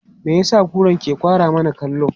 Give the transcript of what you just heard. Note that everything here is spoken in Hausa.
Me ya sa kuran ke kwara mana kallo?